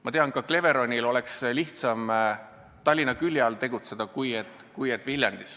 Ma tean, et ka Cleveronil oleks lihtsam Tallinna külje all, mitte Viljandis tegutseda.